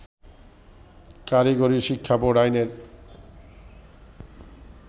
কারিগরি শিক্ষাবোর্ড আইনের